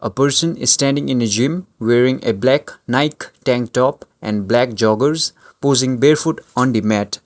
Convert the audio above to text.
a person standing in a gym wearing a black nike tank top and a black joggers posing barefoot on the mat.